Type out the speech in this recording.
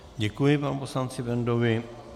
Děkuji panu poslanci Bendovi.